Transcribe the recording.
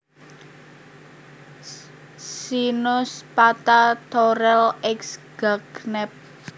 Pycnospatha Thorel ex Gagnep